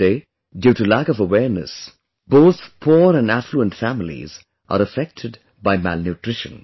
Today, due to lack of awareness, both poor and affluent families are affected by malnutrition